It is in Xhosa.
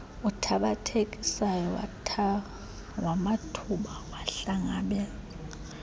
uthabathekisayo wamathuba wahlangabezana